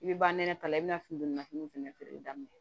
I bɛ ba nɛnɛ ka i bɛna fini don na finiw fɛnɛ feereli daminɛ